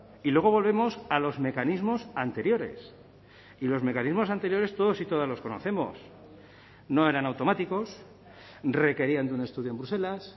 y luego volvemos a los mecanismos anteriores y los mecanismos anteriores todos y todas los conocemos no eran automáticos requerían de un estudio en bruselas